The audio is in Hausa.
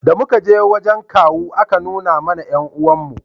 da muka je wajen kawu a ka nuna mana 'yan uwan mu